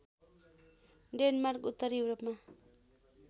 Denmark उत्तरी युरोपमा